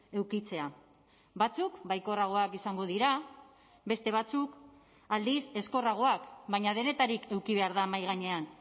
edukitzea batzuk baikorragoak izango dira beste batzuk aldiz ezkorragoak baina denetarik eduki behar da mahai gainean